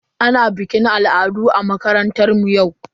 Ana bikin al'adu a makarantar mu yau.